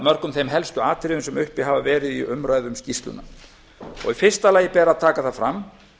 mörgum þeim helstu atriðum sem uppi hafa verið í umræðum um skýrsluna í fyrsta lagi ber að taka það fram